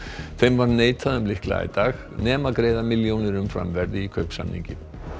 þeim var neitað um lykla í dag nema greiða milljónir umfram verð í kaupsamningi